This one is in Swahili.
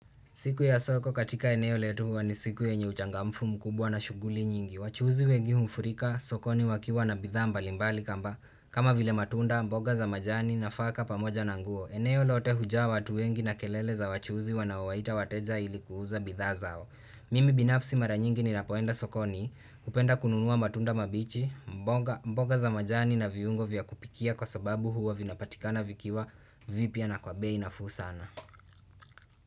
Siku ya soko katika eneo letu huwa ni siku yenye uchangamfu mkubwa na shughuli nyingi. Wachuuzi wengi humfurika, sokoni wakiwa na bidhaa mbalimbali kamba. Kama vile matunda, mboga za majani nafaka pamoja na nguo. Eneo lote hujaa watu wengi na kelele za wachuuzi wanaowaita wateja ili kuuza bidhaa zao. Mimi binafsi mara nyingi ninapoenda sokoni, hupenda kununua matunda mabichi, mboga za majani na viungo vya kupikia kwa sababu huwa vinapatikana vikiwa vipya na kwa bei nafuu sana.